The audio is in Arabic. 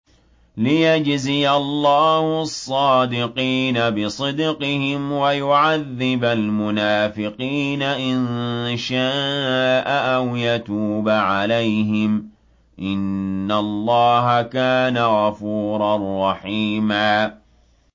لِّيَجْزِيَ اللَّهُ الصَّادِقِينَ بِصِدْقِهِمْ وَيُعَذِّبَ الْمُنَافِقِينَ إِن شَاءَ أَوْ يَتُوبَ عَلَيْهِمْ ۚ إِنَّ اللَّهَ كَانَ غَفُورًا رَّحِيمًا